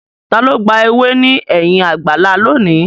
Ta ló gba ewé ní ẹ̀yìn àgbàlá lónìí?